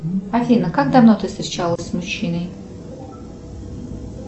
афина как давно ты встречалась с мужчиной